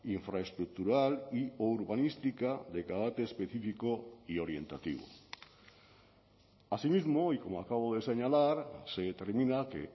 infraestructural y o urbanística de carácter específico y orientativo así mismo y como acabo de señalar se determina que